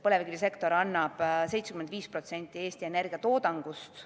Põlevkivisektor annab 75% Eesti energiatoodangust.